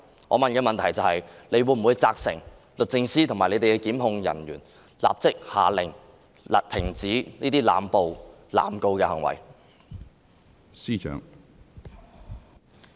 我的補充質詢是，她會否責成律政司及其檢控人員，立即下令停止這些濫捕、濫告的行為？